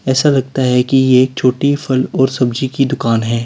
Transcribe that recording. ऐसा लगता है कि यह छोटी फल और सब्जी की दुकान है।